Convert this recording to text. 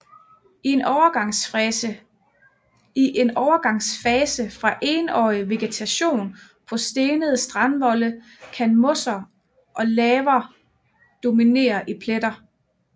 I en overgangsfase fra Enårig vegetation på stenede strandvolde kan mosser og laver dominere i pletter